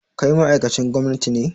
Kai ma ma'aikacin gwamnati ne?